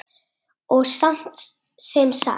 Og sem sagt!